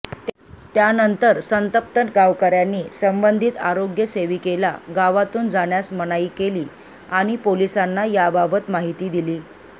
त्यानंतर संतप्त गावकऱ्यांनी संबंधित आरोग्य सेविकेला गावातून जाण्यास मनाई केली आणि पोलिसांना याबाबत माहिती दिली